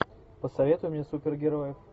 посоветуй мне супергероев